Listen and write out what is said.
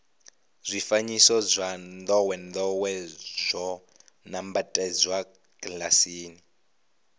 zwifanyiso zwa ndowendowe zwo nambatsedzwa kilasini